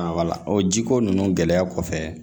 wala o ji ko ninnu gɛlɛya kɔfɛ